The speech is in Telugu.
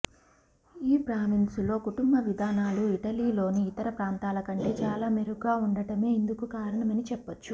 ఈ ప్రావిన్సులో కుటుంబ విధానాలు ఇటలీలోని ఇతర ప్రాంతాల కంటే చాలా మెరుగ్గా ఉండటమే ఇందుకు కారణమని చెప్పొచ్చు